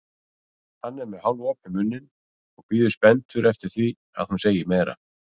Hann er með hálfopinn munninn og bíður spenntur eftir því að hún segi meira.